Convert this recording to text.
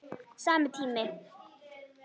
Sami tími.